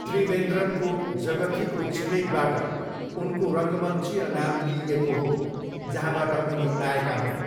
त्रिवेन्द्रमको जगथीको छिमेकबाट उनको रङ्गमञ्चीय नाम लिइएको हो, जहाँबाट उनी आएका हुन्।